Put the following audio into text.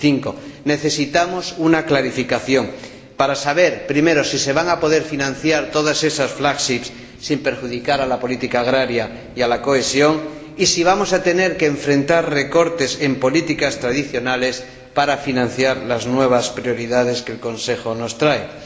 2005. Necesitamos una clarificación para saber, primero, si se van a poder financiar todas esas flagships sin perjudicar a la política agraria y a la cohesión, y si vamos a tener que afrontar recortes en políticas tradicionales para financiar las nuevas prioridades que el Consejo nos presenta.